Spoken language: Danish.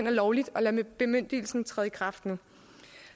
er lovligt at lade bemyndigelsen træde i kraft nu